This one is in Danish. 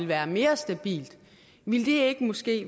være mere stabilt ville det måske